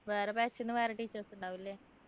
വേറെ batch ന്നു വേറെ teachers ഉണ്ടാകും അല്ലെ